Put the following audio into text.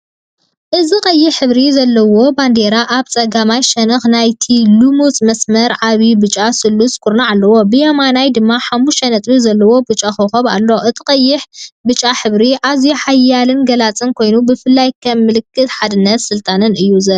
እዚ ቀይሕ ሕብሪ ዘለዋ ባንዴራ ኣብ ጸጋማይ ሸነኽ ናይቲ ልሙጽ መስመር ዓቢ ብጫ ስሉስ ኩርናዕ ኣለዋ። ብየማናይድማ ሓሙሽተ ነጥቢ ዘለዎ ብጫ ኮኾብ ኣሎ። እቲ ቀይሕን ብጫን ሕብሪ ኣዝዩ ሓያልን ገላጽን ኮይኑ፡ብፍላይ ከም ምልክት ሓድነትን ስልጣንን እዩ ዝረአ።